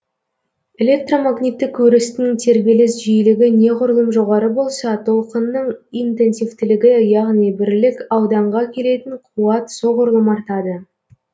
электромагниттік өрістің тербеліс жиілігі неғұрлым жоғары болса толқынның интенсивтілігі яғни бірлік ауданға келетін қуат соғұрлым артады